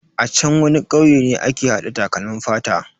A chan wani kauye ne ake hada takalmin fata.